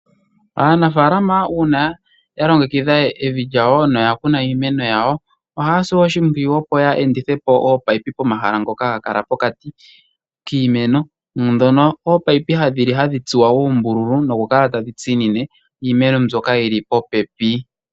Aanafaalama uuna yalongekidha evi nokukuna iimeno, ohaya si oshimpwiyu yeendithe po ominino pomahala ngoka geli pokati kiimeno ndhoka hadhi tsuwa oombululu noku kala tadhi tsinine iimeno mbyoka yili popepi.